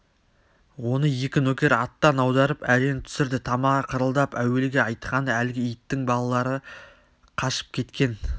оны екі нөкер аттан аударып әрең түсірді тамағы қырылдап әуелгі айтқаны әлгі иттің балалары қашып кеткен